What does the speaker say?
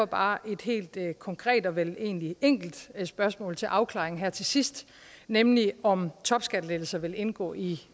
bare et helt konkret og vel egentlig enkelt spørgsmål til afklaring her til sidst nemlig om topskattelettelser vil indgå i